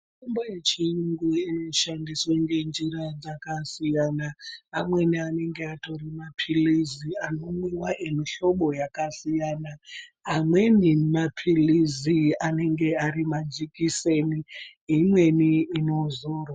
Mitombo yechiyungu inoshandiswe ngenjira dzakasiyana amweni anenge atori mapilizi anomwiwa emihlobo yakasiyana amweni mapilizi anenge ari majikiseni imweni inozorwa.